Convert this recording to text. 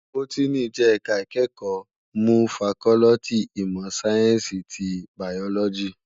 Bótìní jè èká ikèékò mnú fàkòlìtí imò sáyènsí ti báyólòjí